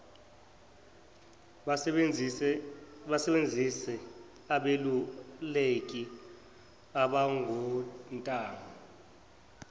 basebenzise abeluleki abangontanga